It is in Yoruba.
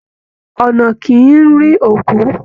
Ọna kìí rí òkú